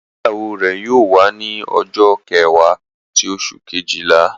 Igbeyawo re yóò wa ni ọjọ kẹwa ti oṣu kejila